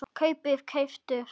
kaupið- keyptuð